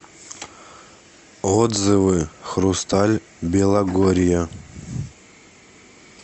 отзывы хрусталь белогорья